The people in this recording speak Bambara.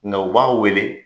Nka o b'an wele